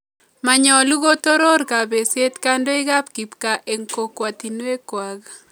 Manyolu kotoror kapesyet kandoik ap kipkaa eng' kokwatinwek kwak